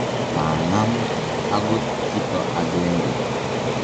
maang'am akot kito agenge.